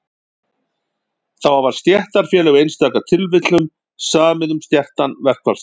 þá hafa stéttarfélög í einstaka tilfellum samið um skertan verkfallsrétt